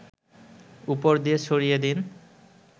উপর দিয়ে ছড়িয়ে দিন